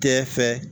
Kɛ fɛ